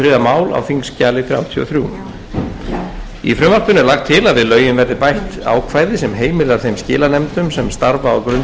mál á þingskjali þrjátíu og þrjú í frumvarpinu er lagt til að við lögin verði bætt ákvæði sem heimilar þeim skilanefndum sem starfa á grundvelli